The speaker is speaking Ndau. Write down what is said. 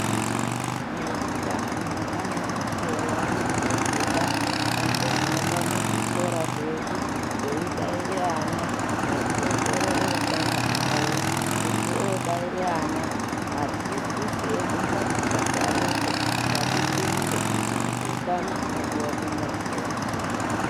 Eutano ane mukuwo waanombobuda ombohamba muzvikora zvedu eibaire ana nekuongorore utano hwavo. Kuti obaire ana, adzidzisi edu ngatisasarepo, ngatipinde nekuti utano hunodiwa kumuntu weshe.